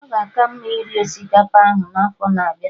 Ọ ga aka mma iri osikapa ahụ n'afọ na-abịa